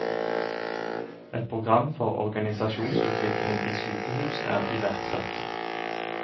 Et program for organisasjonsutvikling i sykehus er iverksatt.